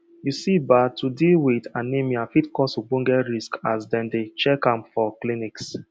you see ba to deal with anemia fit cause ogboge risks as dem dey check am for clinics